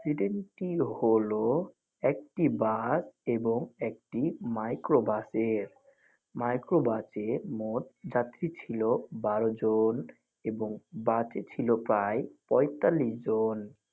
ডেডেনটি হল একটি বাস এবং একটি মাইক্রো বাসের। মাইক্রো বাসে মোট যাত্রী ছিল বারো জন এবং বাসে ছিল প্রায় পঁয়তালিশ জন.